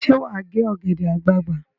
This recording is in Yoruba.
Ṣé wà á gé ọ̀gẹ̀dẹ̀ àgbagbà?